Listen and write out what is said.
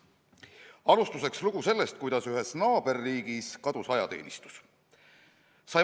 Alustuseks lugu sellest, kuidas ühes naaberriigis kadus ajateenistus.